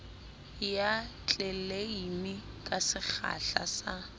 ya tleleime ka sekgahla sa